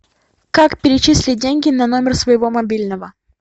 как перечислить деньги на номер своего мобильного